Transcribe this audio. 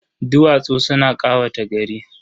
Duwatsu suna ƙawata gari.